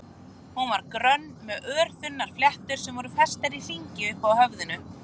Hún var grönn með örþunnar fléttur sem voru festar í hring uppi á höfðinu.